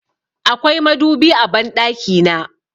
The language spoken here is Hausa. Akwai madubi a banɗaki na.